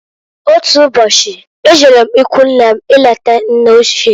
Otu ụbọchị, e jere m ikwunne m ileta nne ochie.